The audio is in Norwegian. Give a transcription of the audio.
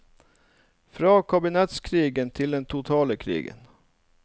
Fra kabinettskrigen til den totale krigen.